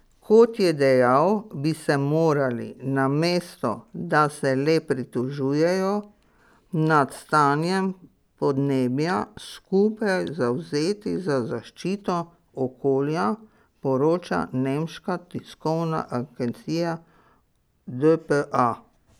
Kot je dejal, bi se morali, namesto da se le pritožujejo nad stanjem podnebja, skupaj zavzeti za zaščito okolja, poroča nemška tiskovna agencija dpa.